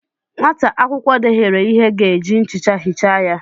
Nwata akwụkwọ dehiere ihe ga eji nchicha hichaa ya